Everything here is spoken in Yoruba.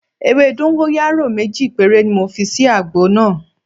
Ewé dọ́ńgóráyò méjì péré ni mo fi sí àgbo náà.